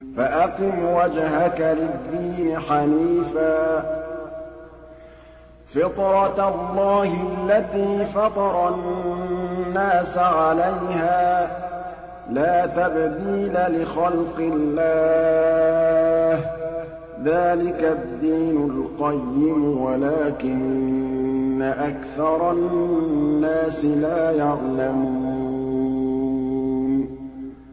فَأَقِمْ وَجْهَكَ لِلدِّينِ حَنِيفًا ۚ فِطْرَتَ اللَّهِ الَّتِي فَطَرَ النَّاسَ عَلَيْهَا ۚ لَا تَبْدِيلَ لِخَلْقِ اللَّهِ ۚ ذَٰلِكَ الدِّينُ الْقَيِّمُ وَلَٰكِنَّ أَكْثَرَ النَّاسِ لَا يَعْلَمُونَ